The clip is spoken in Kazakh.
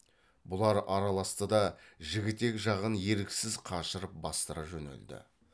бұлар араласты да жігітек жағын еріксіз қашырып бастыра жөнелді